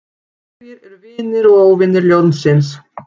Hverjir eru vinir og óvinir ljónsins?